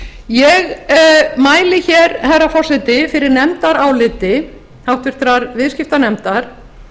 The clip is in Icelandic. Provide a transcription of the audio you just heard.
ég mæli hér herra forseti fyrir nefndaráliti háttvirtur viðskiptanefndar